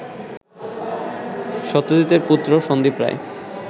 সত্যজিতের পুত্র সন্দীপ রায়